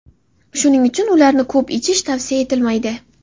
shuning uchun ularni ko‘p ichish tavsiya etilmaydi.